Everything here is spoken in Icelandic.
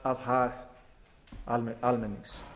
að hag almennings